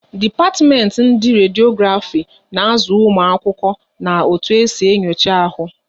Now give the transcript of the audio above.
Dipatimenti ndị Rediografi na azụ ụmụ akwụkwọ na otu esi enyocha ahu